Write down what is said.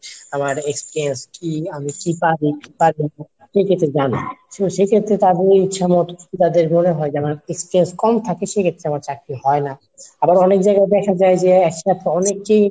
আমার Experience কী, আমি কী পারি কী পারি নাহ সেক্ষেত্রে জানে। সেও সেক্ষেত্রে তাগোর ইচ্ছামতন তাদের মনে হয় যেন experience কম থাকে সেক্ষেত্রে আমার চাকরি হয় নাহ। আবার অনেক জায়গায় দেখা যায় যে একসাথে অনেককেই